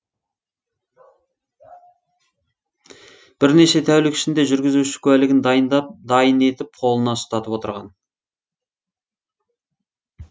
бірнеше тәулік ішінде жүргізуші куәлігін дайын етіп қолына ұстатып отырған